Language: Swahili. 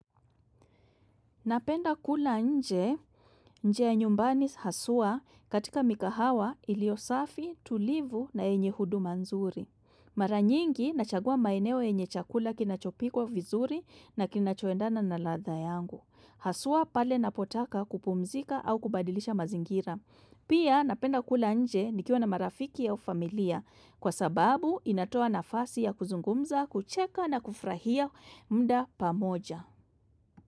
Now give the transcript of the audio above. Napenda kula nje, nje ya nyumbani haswa katika mikahawa ilio safi, tulivu na yenye huduma nzuri. Mara nyingi nachagua maeneo yenye chakula kinachopikwa vizuri na kinachoendana na ladha yangu. Haswa pale napotaka kupumzika au kubadilisha mazingira. Pia napenda kula nje nikiwa na marafiki au familia kwa sababu inatoa nafasi ya kuzungumza, kucheka na kufrahia muda pamoja.